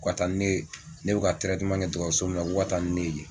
Ko ka taa nin ne ye, ne bɛ ka kɛ dɔgɔtɔrɔso min na ko ka taa ni ne yen.